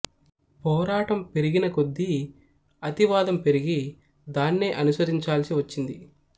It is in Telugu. పోరాటం పెరిగినకొద్దీ అతి వాదం పెరిగి దాన్నే అనుసరించాల్సి వచ్చింది